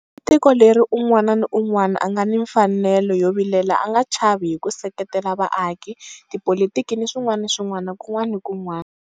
I tiko leri un'wana ni un'wana a nga ni mfanelo yo vilela a nga chavi hi ku seketela vaaki, tipolitiki ni swin'wana ni swin'wana kun'wana ni kun'wana.